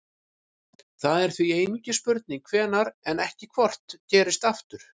það er því einungis spurning hvenær en ekki hvort gerist aftur